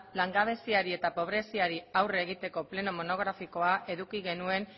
langabeziari eta pobreziari aurre egiteko pleno monografikoa eduki genuen